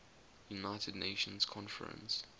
united nations conference